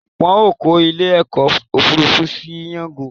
Wọn ó kọ ilé ọkọ̀ Òfurufú sí jango